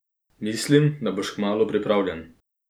Mislim, da boš kmalu pripravljen.